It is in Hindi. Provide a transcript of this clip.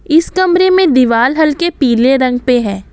इस कमरे में दिवाल हल्के पीले रंग पे है।